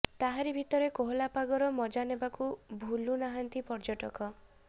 ତାହାରି ଭିତରେ କୋହଲା ପାଗର ମଜା ନେବାକୁ ଭୁଲୁ ନାହାଁନ୍ତି ପର୍ଯ୍ୟଟକ